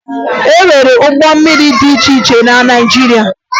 E nwere ụgbọ mmiri dị iche iche na Naịjirịa